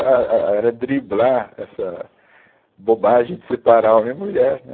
A, a, a, era driblar essa bobagem de separar homem e mulher, né?